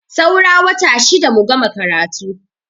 Saura wata shida mu gama karatu.